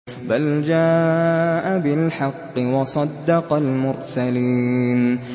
بَلْ جَاءَ بِالْحَقِّ وَصَدَّقَ الْمُرْسَلِينَ